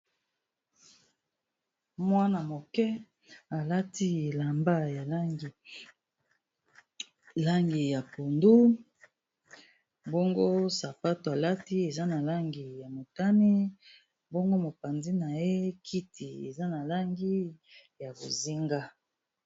Mwana moke alati elamba ya langi ya pondu, mbongo sapato alati eza na langi ya motani, mbongo mopanzi na ye kiti eza na langi ya bozinga.